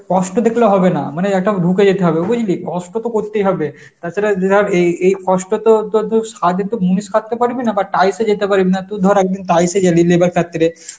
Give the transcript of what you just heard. কষ্ট দেখলে হবে না মানে এটা ঢুকে যেতে হবে বুঝলি কষ্ট তো করতেই হবে তাছাড়া এই যে ধর এই এই কষ্ট তো তোর সাধে তো মুনিষ খাটতে পারবি না বা টাইসে যেতে পারবি না ধর একদিন টাইপ হয়ে গেলি labour কাতরে